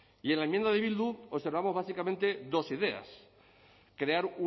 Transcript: y en la enmienda de bildu observamos básicamente dos ideas crear